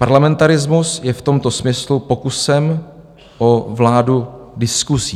Parlamentarismus je v tomto smyslu pokusem o vládu diskusí.